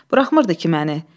Buraxmırdı ki məni.